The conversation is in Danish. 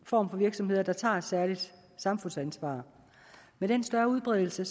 form for virksomhed der tager et særligt samfundsansvar med den større udbredelse